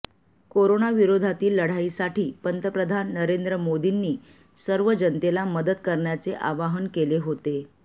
कोरोनाविरोधातील लढाईसाठी पंतप्रधान नरेंद्र मोदींनी सर्व जनतेला मदत करण्याचे आवाहन केले होते